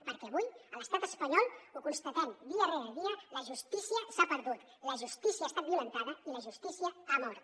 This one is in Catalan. perquè avui a l’estat espanyol ho constatem dia rere dia la justícia s’ha perdut la justícia ha estat violentada i la justícia ha mort